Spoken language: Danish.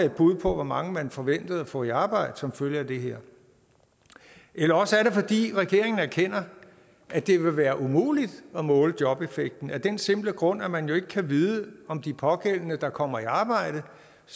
et bud på hvor mange man forventer at få i arbejde som følge af det her eller også er det fordi regeringen erkender at det vil være umuligt at måle jobeffekten af den simple grund at man jo ikke kan vide om de pågældende der kommer i arbejde